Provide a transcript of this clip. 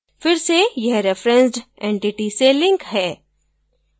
फिर से यह referenced entity से linked है